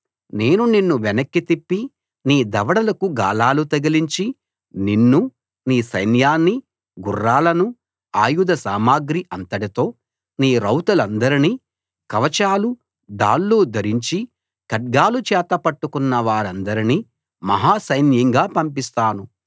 నేను నిన్ను వెనక్కి తిప్పి నీ దవడలకు గాలాలు తగిలించి నిన్నూ నీ సైన్యాన్నీ గుర్రాలనూ ఆయుధ సామగ్రి అంతటితో నీ రౌతులందరినీ కవచాలు డాళ్లు ధరించి ఖడ్గాలు చేతపట్టుకున్న వారందనీ మహా సైన్యంగా పంపిస్తాను